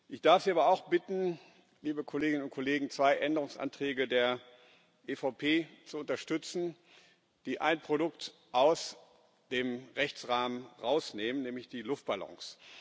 Ich darf Sie aber auch bitten, liebe Kolleginnen und Kollegen, zwei Änderungsanträge der EVP zu unterstützen, die ein Produkt aus dem Rechtsrahmen rausnehmen, nämlich die Luftballons.